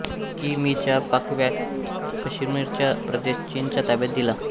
कि मी चा पाकव्याप्त काश्मीरचा प्रदेश चीनच्या ताब्यात दिला